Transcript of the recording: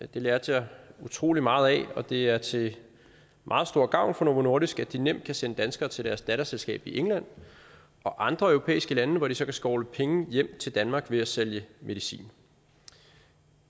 det lærte jeg utrolig meget af og det er til meget stor gavn for novo nordisk at de nemt kan sende danskere til deres datterselskab i england og andre europæiske lande hvor de så kan skovle penge hjem til danmark ved at sælge medicin